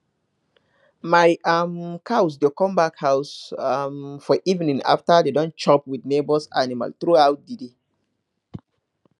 my um cows dey come back house um for evening after dem don chop with neighbours animal through out the day